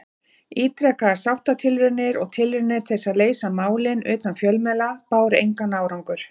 Ítrekaðar sáttatilraunir og tilraunir til að leysa málin utan fjölmiðla báru engan árangur.